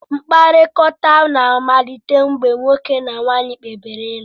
Mkpakọrịta na-amalite mgbe nwoke na nwanyị kpebiri ịlụ.